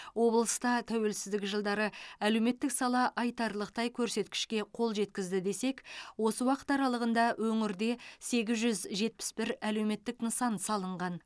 облыста тәуелсіздік жылдары әлеуметтік сала айтарлықтай көрсеткішке қол жеткізді десек осы уақыт аралығында өңірде сегіз жүз жетпіс бір әлеуметтік нысан салынған